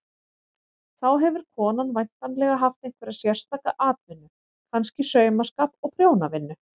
Þá hefur konan væntanlega haft einhverja sérstaka atvinnu, kannski saumaskap og prjónavinnu.